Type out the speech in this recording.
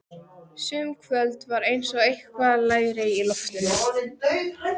Sum kvöld var eins og eitthvað lægi í loftinu.